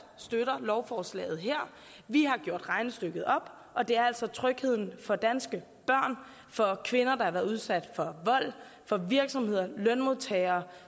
støtter lovforslaget her vi har gjort regnestykket op og det er altså trygheden for danske børn for kvinder der har været udsat for vold for virksomheder og lønmodtagere